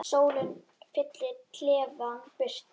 Sólin fyllir klefann birtu.